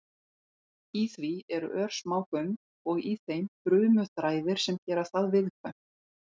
Í því eru örsmá göng og í þeim frumuþræðir sem gera það viðkvæmt.